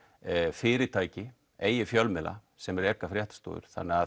fyrirtæki eigi fjölmiðla sem reka fréttastofur